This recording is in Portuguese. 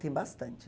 Tem bastante.